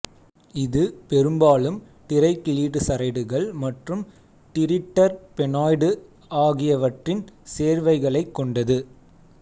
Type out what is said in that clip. இது பெரும்பாலும் டிரைகிளிசரைடுகள் மற்றும் டிரிட்டர்பெனாய்டு ஆகியவற்றின் சேர்வைகளைக் கொண்டது